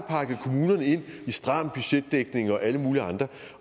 i stram budgetdækning og alle mulige andre